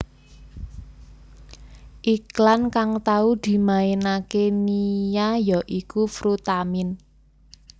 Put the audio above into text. Iklan kang tau dimainaké Nia ya iku Frutamin